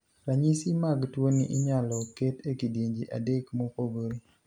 Ranyisi mag tuoni inyalo ket e kidienje adek mopogore.